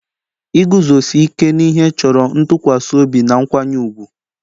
Iguzosi ike n'ihe chọrọ ntụkwasị obi na nkwanye ùgwù